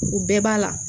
U bɛɛ b'a la